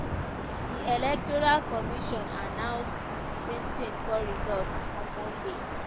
di electoral commission announce di twenty twenty four results on monday.